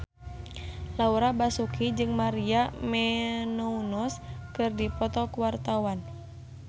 Laura Basuki jeung Maria Menounos keur dipoto ku wartawan